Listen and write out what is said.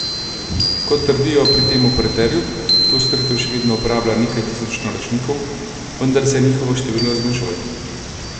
Kot trdijo pri tem operaterju, to storitev še vedno uporablja nekaj tisoč naročnikov, vendar se njihovo število zmanjšuje.